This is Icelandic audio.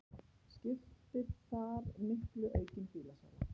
Skiptir þar miklu aukin bílasala